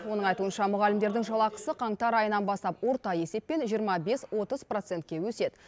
оның айтуынша мұғалімдердің жалақысы қаңтар айынан бастап орта есеппен жиырма бес отыз процентке өседі